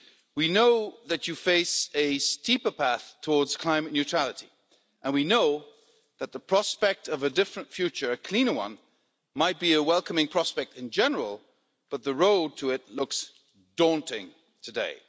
We know that you face a steeper path towards climate neutrality and we know that the prospect of a different future a cleaner one might be a welcoming prospect in general, but the road to it looks daunting today.